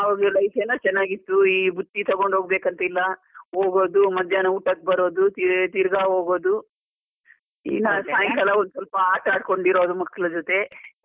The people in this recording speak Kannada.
ಅವಾಗೆಲ್ಲ life ಚನ್ನಾಗಿತ್ತು, ಈ ಬುತ್ತಿ ತೊಗೊಂಡು ಹೋಗ್ಬೇಕಂತ ಇಲ್ಲ, ಹೋಗೋದು ಮಧ್ಯಾಹ್ನ ಊಟಕ್ ಬರೋದು ತೀ~ ತಿರ್ಗಾ ಹೋಗೋದು ಒಂದು ಸ್ವಲ್ಪ ಆಟಡ್ ಕೊಂಡಿರೋದು ಮಕ್ಳ ಜೊತೆ.